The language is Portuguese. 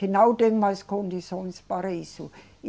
Que não tem mais condições para isso.